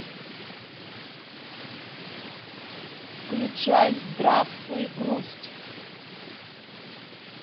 включай здравствуй грусть